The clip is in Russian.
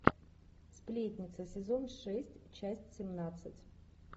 сплетница сезон шесть часть семнадцать